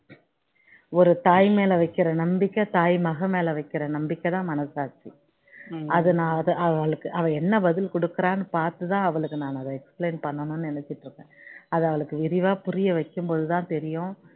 ஒரு தாய் மேல வைக்கிற நம்பிக்கை தாய் மகன் மேல வைக்கிற நம்மிக்கை தான் மனசாட்சி அது நான் அது அவளுக்கு அவ என்ன படில கொடுக்கிறா பார்த்து தான் அவளுக்கு நான் அதை explain பண்ணனும்னு நினைச்சிட்டு இருக்கேன் அது அவளுக்கு தெளிவா புரிய வைக்கும் போது தான் தெரியும்